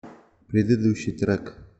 предыдущий трек